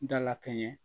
Dala kɛɲɛ